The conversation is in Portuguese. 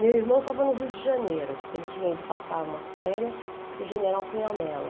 Meu irmão estava no Rio de Janeiro, porque ele tinha ido passar umas férias com o general Cunhamelo.